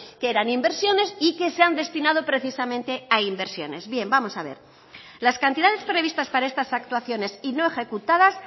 que eran inversiones y que se han destinado precisamente a inversiones bien vamos a ver las cantidades previstas para estas actuaciones y no ejecutadas